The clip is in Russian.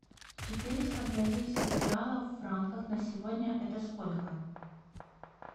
четыреста бразильских реалов в франках на сегодня это сколько